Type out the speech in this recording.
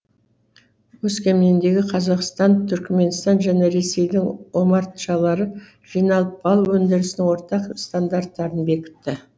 өскеменде қазақстан түркіменстан және ресейдің омартшалары жиналып бал өндірісінің ортақ стандарттарын бекітті